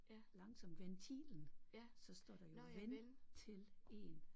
Langsomt Ventilen så står der jo ven til en